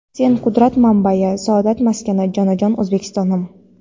"Sen — qudrat manbai, saodat maskani, jonajon O‘zbekistonim!".